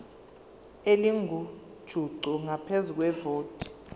elingujuqu ngaphezu kwevoti